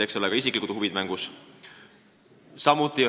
Eks siin ole ka isiklikud huvid mängus.